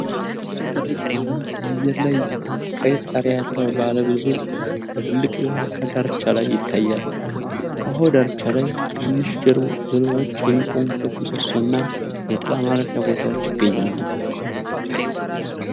ጥርት ባለ የአየር ላይ እይታ፣ ቀይ ጣሪያ ያለው ባለ ብዙ ፎቅ በትልቅ የውሃ አካል ዳርቻ ላይ ይታያል። ከውሃው ዳርቻ ላይ ትናንሽ ጀልባዎች የሚቆሙበት ምሰሶ እና የጥላ ማረፊያ ቦታዎችም ይገኛሉ።